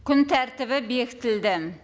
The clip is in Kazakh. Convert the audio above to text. күн тәртібі бекітілді